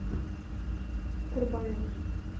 курбанове